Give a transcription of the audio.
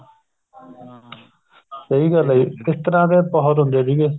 ਸਹੀ ਗੱਲ ਹੈ ਜੀ ਇਸ ਤਰ੍ਹਾਂ ਦੇ ਬਹੁਤ ਹੁੰਦੇ ਸੀਗੇ